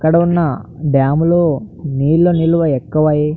ఇక్కడ ఉన్న డామ్ లో నీళ్ల నిలువ ఎక్కువ అయ్యి --